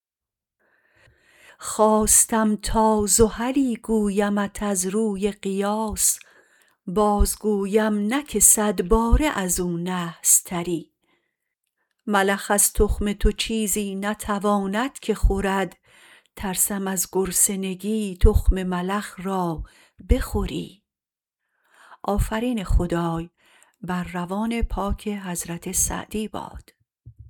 خواستم تا زحلی گویمت از روی قیاس بازگویم نه که صدباره ازو نحس تری ملخ از تخم تو چیزی نتواند که خورد ترسم از گرسنگی تخم ملخ را بخوری